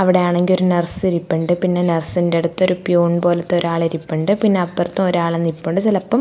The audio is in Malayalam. അവിടെ ആണെങ്ക് ഒരു നർസ് ഇരിപ്പുണ്ട് പിന്നെ നർസിൻ്റെടുത്ത് ഒരു പ്യൂൺ പോലത്തെ ഒരാള് ഇരിപ്പുണ്ട് പിന്നെ അപ്പുറത്തും ഒരാള് നിപ്പുണ്ട് ചെലപ്പോ--